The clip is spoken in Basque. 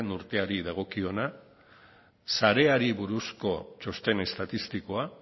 urteari dagokiona sareari buruzko txosten estatistikoa